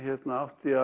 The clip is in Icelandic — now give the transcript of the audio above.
átti